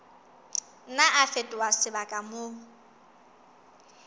nna a fetoha sebaka moo